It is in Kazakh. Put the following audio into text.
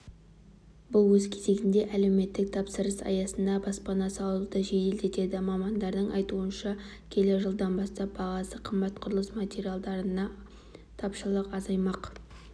бұл өз кезегінде әлеуметтік тапсырыс аясында баспана салуды жеделдетеді мамандардың айтуынша келер жылдан бастап бағасы қымбат құрылыс материалына тапшылық азаймақ